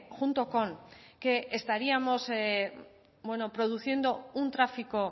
junto con que estaríamos produciendo un tráfico